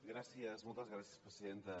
gràcies moltes gràcies presidenta